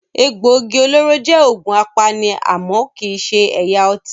Egbògi olóró jẹ́ òògùn apani àmọ́ kii ṣe ẹ̀yà ọtí.